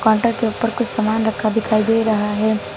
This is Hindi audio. पाटा के ऊपर कुछ सामान रखा दिखाई दे रहा है।